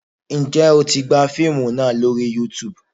Ǹjẹ́ o tí gbà fíìmù náà lórí Youtube?